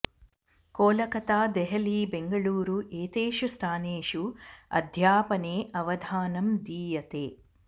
कोलकता देहली बेङ्गळूरु एतेषु स्थानेषु अध्यापने अवधानं दीयते